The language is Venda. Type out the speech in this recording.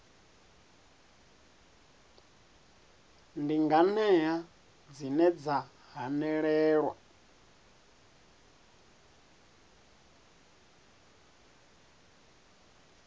ndi nganea dzine dza hanelelwa